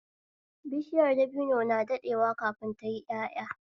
Bishiyar dabino na daɗewa kafin tayi ƴaƴa